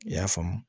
I y'a faamu